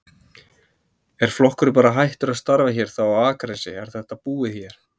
Er flokkurinn bara hættur að starfa hér þá á Akranesi, er þetta búið hér?